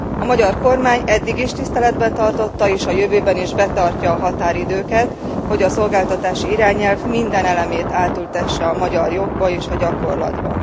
A magyar kormány eddig is tiszteletben tartotta, és a jövőben is betartja a határidőket, hogy a szolgáltatási irányelv minden elemét átültesse a magyar jogba és a gyakorlatba.